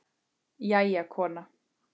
Jæja, kona.